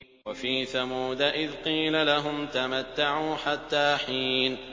وَفِي ثَمُودَ إِذْ قِيلَ لَهُمْ تَمَتَّعُوا حَتَّىٰ حِينٍ